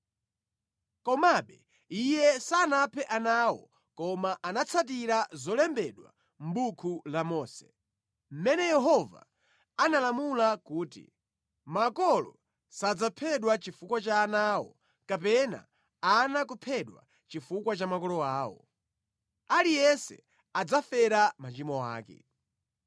Komabe iye sanaphe ana awo koma anatsatira zolembedwa mʼbuku la Mose, mʼmene Yehova analamula kuti, “Makolo sadzaphedwa chifukwa cha ana awo kapena ana kuphedwa chifukwa cha makolo awo. Aliyense adzafera machimo ake.”